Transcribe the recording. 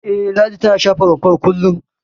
E, Ladi tana share rumfar kullum.